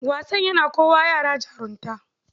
Wasan yana kowa yara jarunta